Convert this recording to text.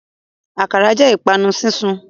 Akara jẹ ipanu sisun